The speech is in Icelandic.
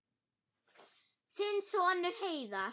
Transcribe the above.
Þinn sonur, Heiðar.